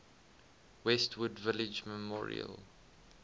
westwood village memorial